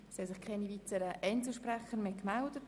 Es haben sich keine weiteren Einzelsprecher gemeldet.